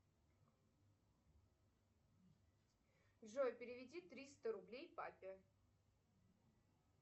джой переведи триста рублей папе